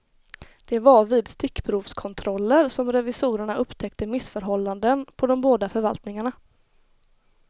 Det var vid stickprovskontroller som revisorerna upptäckte missförhållanden på de båda förvaltningarna.